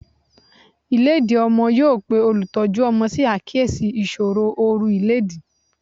Ìlédìí ọmọ yóò pe olùtọ́jú ọmọ sí àkíyèsí ìṣòro oru ìlédìí.